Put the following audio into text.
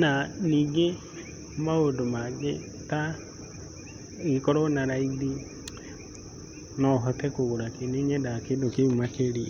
Na ningĩ maũndũ mangĩ ta nogĩkorwo na raithi nohote kũgũra kĩũ. Nĩnyendaga kĩndũ kĩu makĩria.